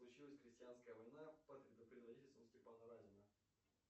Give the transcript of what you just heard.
случилась крестьянская война под предводительством степана разина